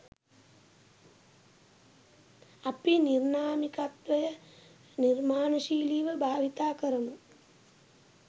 අපි නිර්නාමිකත්වය නිර්මාණශීලීව භාවිතා කරමු.